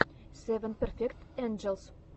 севен перфект энджелс